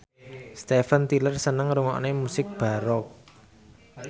Steven Tyler seneng ngrungokne musik baroque